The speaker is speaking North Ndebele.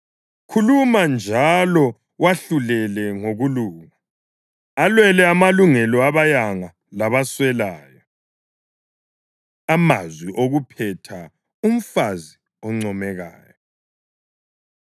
Khuluma njalo wahlulele ngokulunga; alwele amalungelo abayanga labaswelayo. Amazwi okuphetha: Umfazi Oncomekayo